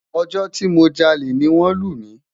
Ojo ti mo jale ni won lu mi